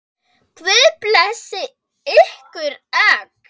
Guð blessi ykkur öll.